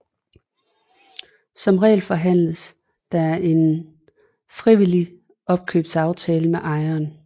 Som regel forhandles der en frivillig opkøbsaftale med ejeren